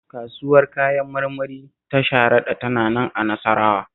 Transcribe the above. Kasuwar Kayan marmari ta Sharaɗa tana nan a Nasarawa